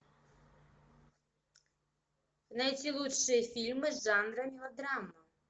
найти лучшие фильмы жанра мелодрама